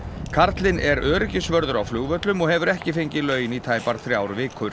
karlinn er öryggisvörður á flugvöllum og hefur ekki fengið laun í tæpar þrjár vikur